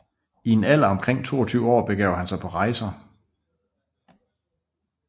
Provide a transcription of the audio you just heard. I en alder af omtrent 22 år begav han sig på rejser